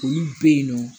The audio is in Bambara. Olu be yen nɔ